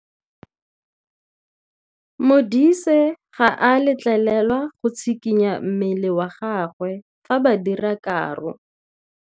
Modise ga a letlelelwa go tshikinya mmele wa gagwe fa ba dira karô.